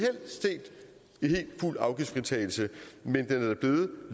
fuld afgiftsfritagelse men